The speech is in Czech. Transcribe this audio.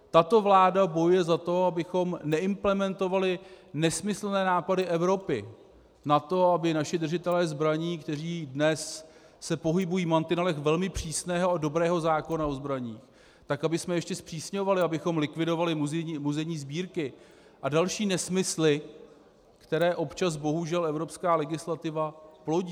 Tato vláda bojuje za to, abychom neimplementovali nesmyslné nápady Evropy na to, aby naši držitelé zbraní, kteří dnes se pohybují v mantinelech velmi přísného a dobrého zákona o zbraních, tak abychom ještě zpřísňovali, abychom likvidovali muzejní sbírky a další nesmysly, které občas bohužel evropská legislativa plodí.